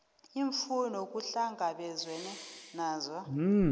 iimfuno kuhlangabezwene nazo